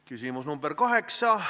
Küsimus nr 8.